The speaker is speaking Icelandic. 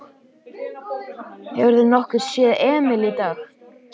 Hefurðu nokkuð séð Emil í dag?